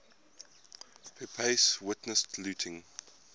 pepys witnessed looting